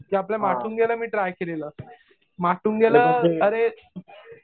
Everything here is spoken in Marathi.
आपल्या माटुंग्याला मी ट्राय केलेलं. माटुंग्याला अरे